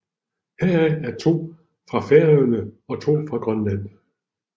Heraf er to fra Færøerne og to fra Grønland